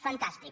fantàstic